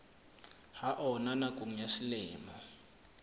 ha ona nakong ya selemo